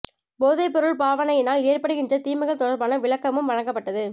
போதைப் பொருள் பாவனையினால் ஏற்படுகின்ற தீமைகள் தொடர்பான விளக்கமும் வழங்கப்பட்டது